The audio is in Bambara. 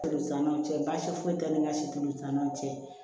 Olu t'an ni ɲɔgɔn cɛ baasi foyi t'an ni ka si tulu san ɲɔgɔn cɛ